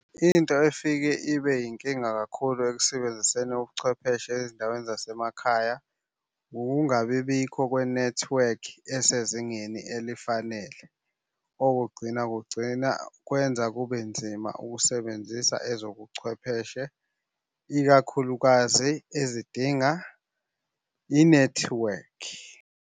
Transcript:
Into efike ibe yinkinga kakhulu ekusebenziseni ubuchwepheshe ezindaweni zasemakhaya, ukungabi bikho kwenethiwekhi esezingeni elifanele. Okugcina kugcina kwenza kube nzima ukusebenzisa ezobuchwepheshe, ikakhulukazi ezidinga inethiwekhi.